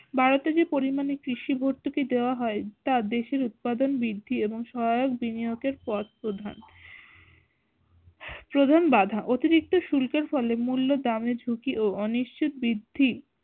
ভারতে যে পরিমানে কৃষি ভতুর্কি দেওয়া হয় তা দেশের উৎপাদন বৃদ্ধি এবং সয়াহক বিনিয়োগের পথ প্রধান প্রধান বাঁধা অতিরিক্ত শুল্ক এর ফলে মূল্য দামের ঝুঁকি ও অনিশ্চিত বৃদ্ধি